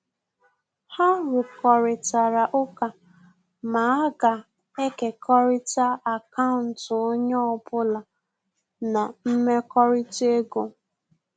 Ha rukoritara ụka ma aga ekekọrita akaụntụ onye ọbụla na mmekọrịta ego